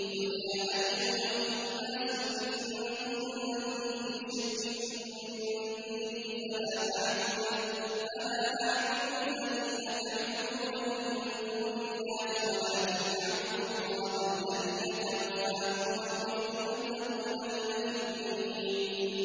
قُلْ يَا أَيُّهَا النَّاسُ إِن كُنتُمْ فِي شَكٍّ مِّن دِينِي فَلَا أَعْبُدُ الَّذِينَ تَعْبُدُونَ مِن دُونِ اللَّهِ وَلَٰكِنْ أَعْبُدُ اللَّهَ الَّذِي يَتَوَفَّاكُمْ ۖ وَأُمِرْتُ أَنْ أَكُونَ مِنَ الْمُؤْمِنِينَ